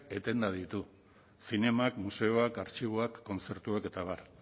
etenda ditu zinemak museoak artxiboak kontzertuak eta abar